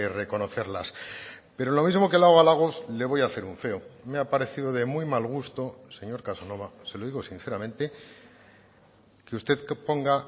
reconocerlas pero lo mismo que le hago halagos le voy a hacer un feo me ha parecido de muy mal gusto señor casanova se lo digo sinceramente que usted ponga